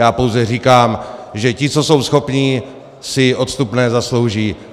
Já pouze říkám, že ti, co jsou schopní, si odstupné zaslouží.